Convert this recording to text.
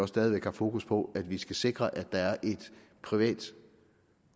stadig væk har fokus på at vi skal sikre at der er et privat